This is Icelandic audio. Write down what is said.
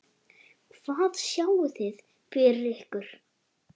Hvað sjáið þið fyrir ykkur?